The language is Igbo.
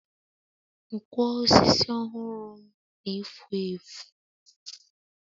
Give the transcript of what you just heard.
Nkwo osisi ọhụrụ m na-efu efu.